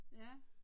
Ja